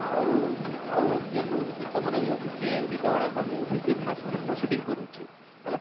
ଆଉ ଆଉ ଯେନ movie ଗୀତ ମାନେ ବି ଅଛେ ସେ ସେ ଗୀତ ଗୁଡାକ ମାନେ movie କେ ମାନେ ସେମାନେ proceeding କରୁଛେ ହେଲା,